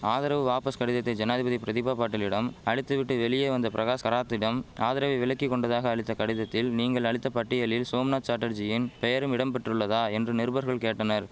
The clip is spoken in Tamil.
ஆதரவு வாபஸ் கடிதத்தை ஜனாதிபதி பிரதிபா பாட்டீலிடம் அளித்து விட்டு வெளியே வந்த பிரகாஷ் கராத்திடம் ஆதரவை விலக்கி கொண்டதாக அளித்த கடிதத்தில் நீங்கள் அளித்த பட்டியலில் சோம்நாத் சாட்டர்ஜியின் பெயரும் இடம் பெற்றுள்ளதா என்று நிருபர்கள் கேட்டனர்